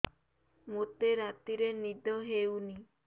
ମୋତେ ରାତିରେ ନିଦ ହେଉନି